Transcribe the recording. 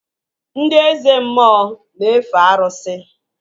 Ndị Eze mmụọ na-efe arụsị